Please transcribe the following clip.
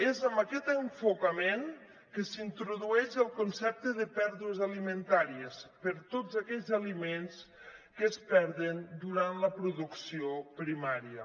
és amb aquest enfocament que s’introdueix el concepte de pèrdues alimentàries per a tots aquells aliments que es perden durant la producció primària